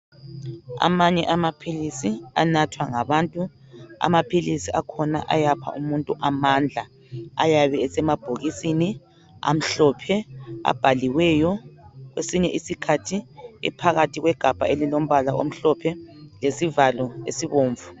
Amanye anathwa ngabantu. Amaphilisi akhona ayapha amandla, ayabe esemabhokisini amhlophe abhaliweyo kwesinye isikhathi ephakathi kwegabha elilombala omhlophe lesivalo esibomvu.